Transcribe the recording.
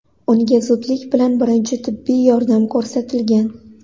Unga zudlik bilan birinchi tibbiy yordam ko‘rsatilgan.